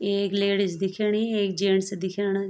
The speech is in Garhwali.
एक लेडीज दिखेणी एक जेंट्स दिखेणा।